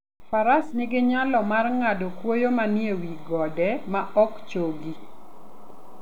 Faras nigi nyalo mar ng'ado kwoyo manie wi gode ma ok chogi.